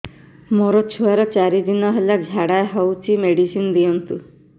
ମୋର ଛୁଆର ଚାରି ଦିନ ହେଲା ଝାଡା ହଉଚି ମେଡିସିନ ଦିଅନ୍ତୁ